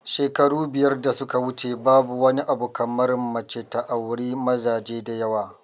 Shekaru biyar da suka wuce babu wani abu kamar mace ta auri mazaje da yawa